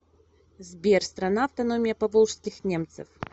сбер страна автономия поволжских немцев